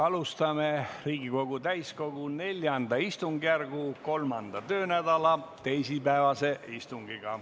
Alustame Riigikogu täiskogu IV istungjärgu 3. töönädala teisipäevast istungit.